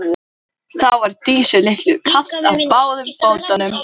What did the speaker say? Þessi frekja var tengd dálæti Þórðar á sterku lífi.